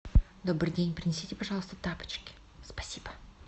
добрый день принесите пожалуйста тапочки спасибо